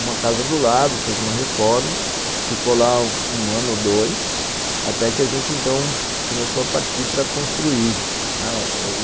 uma casa do lado, fez uma reforma, ficou lá um ano ou dois, até que a gente, então, começou a partir para construir.